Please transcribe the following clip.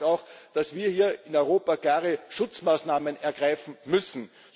Das heißt auch, dass wir hier in Europa klare Schutzmaßnahmen ergreifen müssen.